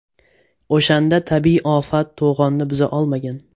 O‘shanda tabiiy ofat to‘g‘onni buza olmagan.